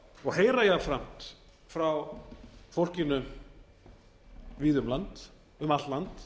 og heyra jafnframt frá fólkinu víða um allt land